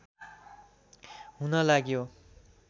हुन लाग्यो